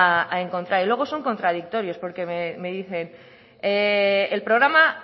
a encontrar y luego son contradictorios porque me dicen el programa